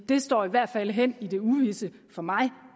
det står i hvert fald hen i det uvisse for mig